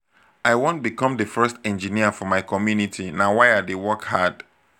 i wan become the first engineer for my community na why i dey work hard.